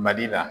Mali la